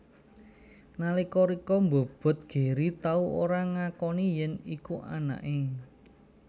Nalika Richa mbobot Gary tau ora ngakoni yèn iku anaké